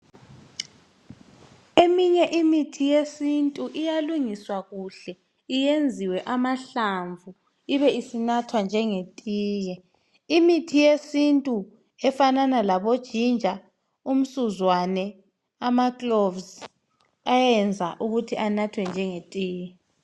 Eminye imithi yesintu iyalungiswa kuhle iyenziwe amahlamvu ibisi nathwala njenge tiye, imithi yesintu efanana labo ginger umsuzwane ama cloves ayayenza ukuthi anathwe njenge tiye.